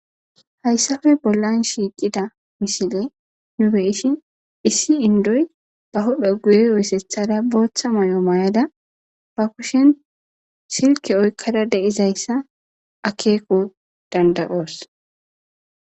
Hayssafe bollan shiiqida misile nu beishin issi indoy ba hodho guye oysethada booththa moy7o mayada ba kushen silke oykkada deizayssa akeeko danda7oos.